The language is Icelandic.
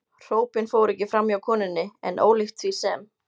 Hrópin fóru ekki framhjá konunni, en ólíkt því sem